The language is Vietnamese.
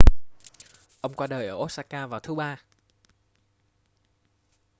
ông qua đời ở osaka vào thứ ba